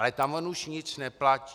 Ale tam on už nic neplatí.